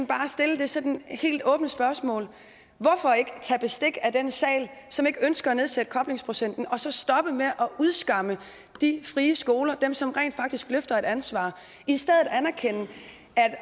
bare stille det sådan helt åbne spørgsmål hvorfor ikke tage bestik af den sal som ikke ønsker at nedsætte koblingsprocenten og så stoppe med at udskamme de frie skoler dem som rent faktisk løfter et ansvar og i stedet anerkende